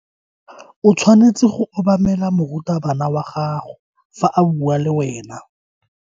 O tshwanetse go obamela morutabana wa gago fa a bua le wena.